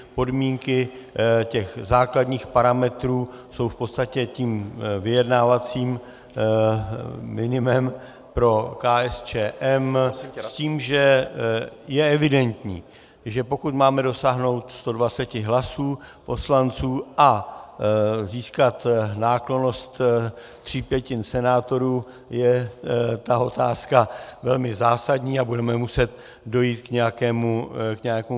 Podmínky těch základních parametrů jsou v podstatě tím vyjednávacím minimem pro KSČM s tím, že je evidentní, že pokud máme dosáhnout 120 hlasů poslanců a získat náklonnost tří pětin senátorů, je ta otázka velmi zásadní a budeme muset dojít k nějakému konsenzu.